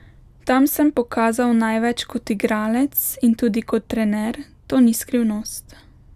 Tam sem pokazal največ kot igralec in tudi kot trener, to ni skrivnost.